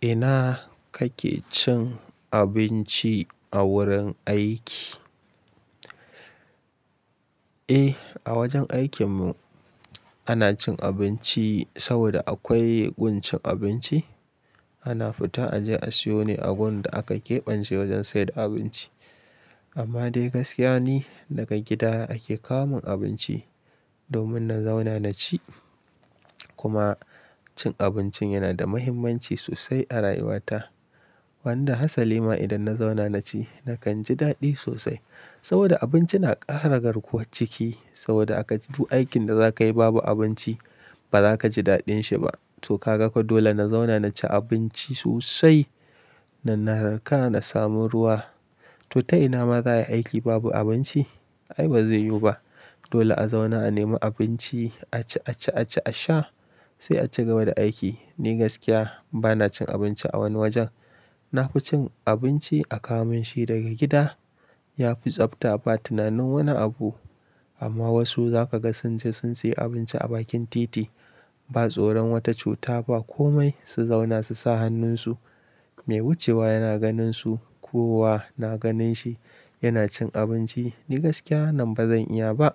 Ina kake cin abinci a wurin aiki? Eh, a wajen aikin mu ana cin abinci saboda akwai gun cin abinci. Ana fita a je a siyo ne a wurin da aka keɓance wajen saida abinci. Amma dai gaskiya ni daga gida ake kawo min abinci domin na zauna na ci. Kuma cin abincin yana da muhimmanci sosai a rayuwata. Wanda Hasalima idan na zauna na ci nakan ji daɗi sosai. Saboda abinci na ƙara garkuwar ciki saboda akac du aikin da za ka yi babu abinci ba za ka ji daɗin shi ba. To ka ga ko dole na zauna na ci abinci sosai, na narka na samu ruwa. To ta ina ma za a yi aiki babu abinci? Ai ba zai yiwu ba. Dole a zauna a nemi abinci a ci, a ci, a ci, a sha sai a ci gaba da aiki. Ni gaskiya ba na cin abinci a wani wajen. Na fi cin abinci a kawo min shi daga gida. Ya fi tsabta ba tunanin wani abu. Amma wasu za ka ga sun je sun sayi abinci a bakin titi. Ba tsoron wata cuta ba komai su zauna su sa hannunsu. Mai wucewa yana ganin su ko wa na ganin shi yana cin abinci. Ni gaskiya wannan ba zan iya ba.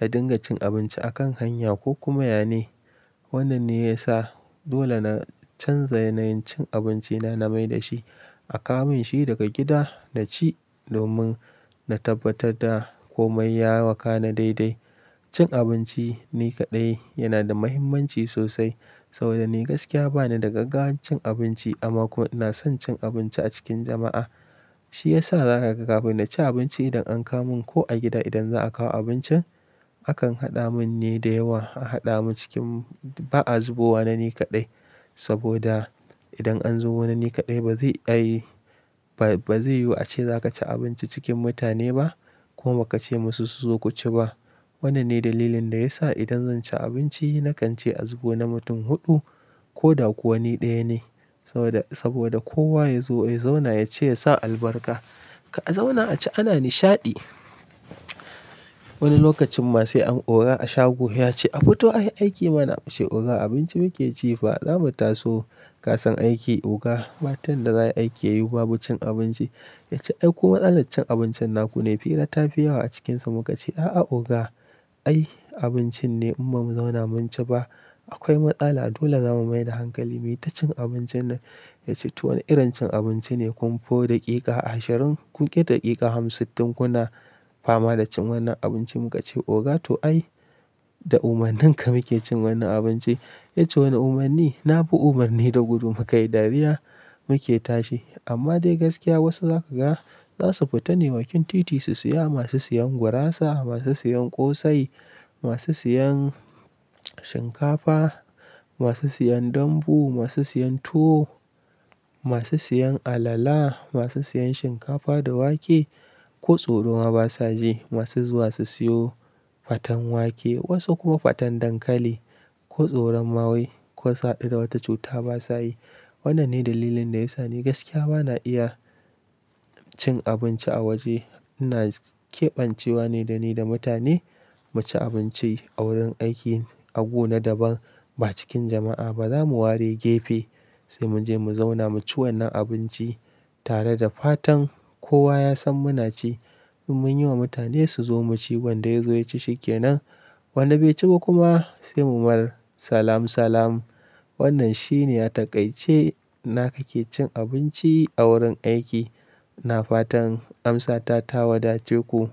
Na dinga cin abinci a kan hanya ko kuma yane. Wannan ne ya sa dole na canza yanayin cin abinci na na mai da shi. A kawo min shi daga gida na ci domin na tabbatar da komai ya wakana daidai. Cin abinci ni kaɗai yana da muhimmanci sosai saboda ni gaskiya ba ni da gaggawar cin abinci amma ko ina son cin abinci a cikin jama'a. Shi ya sa za ka ga kafin na ci abinci idan an kawo mun ko a gida idan za a kawo abincin, akan haɗa mun ne da yawa. A haɗa mu cikin ba a zubowa nani kaɗai saboda idan an zubo nani kaɗai ba zai ayi, ba zai yiwu a ce za ka ci abinci cikin mutane ba kuma baka ce musu su zo ku ci ba. Wannan ne dalilin da ya sa idan zan ci abinci na kan ce a zubo na mutum huɗu ko da kuwa ni ɗaya ne. Saboda, saboda kowa ya zo ya zauna ya ci yasa albarka. Ka'a zauna a ci ana nishaɗi. Wani lokacin ma sai an oga a shago ya ce, "A fito a yi aiki mana ace oga abinci muke ci fa. Za mu taso kasan aiki oga." batan da za a yi aiki yau babu cin abinci. Ya ce, "Ai ku matsalat cin abincin naku ne." Fira tafiyawa a cikinsa muka ce, "A'a oga. Ai abincin ne imma mu zauna mun ci ba. Akwai matsala dole za mu mai da hankali. Mi ta cin abincin nan ya ce to wani irin cin abinci ne. Kun fo daƙiƙa ashirin kun ƙi daƙiƙa hamsittin kuna fama da cin wannan abinci." Mun ka ce, "Oga to ai da umarnin ka muke cin wannan abinci." Ya ce, "Wanne umarni? Na bi umarni da gudu muka yi dariya muke tashi." Amma dai gaskiya wasu za ka ga za su fita ne bakin titi su siya. Masu siyan gurasa, masu siyan ƙosai, masu siyan shinkafa, masu siyan dambu, masu siyan tuwo, masu siyan alala, masu siyan shinkafa da wake ko tsoro ma ba sa ji. Masu zuwa su siyo faten wake wasu kuma faten dankali ko tsoron ma wai ko su haɗu da wata cuta ba sa yi. Wannan ne dalilin da ya sa ni gaskiya ba na iya cin abinci a waje. Ina ƙeɓance wa ne da ni da mutane mu ci abinci a wurin aiki agu na daban ba cikin jama'a ba. Za mu ware gefe sai mu je mu zauna mu ci wannan abinci tare da fatan kowa ya san muna ci. In mun yi wa mutane su zo mu ci wanda ya zo ya ci shi ke nan. Wanda bai ci ba kuma sai mu mar salam salam. Wannan shi ne ya taƙaitce na kake cin abinci a wurin aiki. Na fatan amsa ta ta wada ce ku.